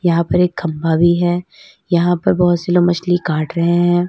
यहां पर एक खंबा भी है यहां पर बहुत सी लोग मछली काट रहे हैं।